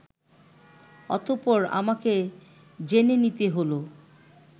অতঃপর আমাকে জেনে নিতে হলো